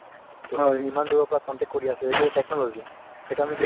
টো ইমান দুৰৰ পৰা contacts কৰি আছোঁ এইটো এটা technology । সেইটো আমি